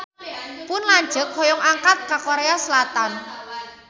Pun lanceuk hoyong angkat ka Korea Selatan